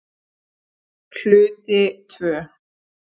Hluti II